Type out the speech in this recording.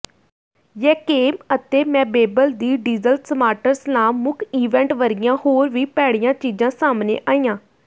ਯੈਂਕੇਮ ਅਤੇ ਮੈਬੇਬਲ ਦੀ ਡੀਜ਼ਲ ਸਮਾਰਟਰਸਲਾਮ ਮੁੱਖ ਇਵੈਂਟ ਵਰਗੀਆਂ ਹੋਰ ਵੀ ਭੈੜੀਆਂ ਚੀਜ਼ਾਂ ਸਾਹਮਣੇ ਆਈਆਂ